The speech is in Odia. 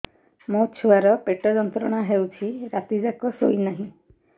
ମୋ ଛୁଆର ପେଟ ଯନ୍ତ୍ରଣା ହେଉଛି ରାତି ଯାକ ଶୋଇନାହିଁ